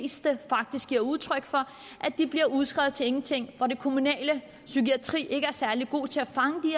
det er udtryk for at de bliver udskrevet til ingenting og at den kommunale psykiatri ikke er særlig god til at fange